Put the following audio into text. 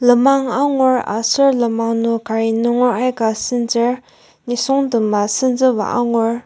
lemang angur aser lemang nung cari nunger aika senzur nisungtem a senzuba angur.